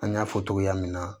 An y'a fɔ togoya min na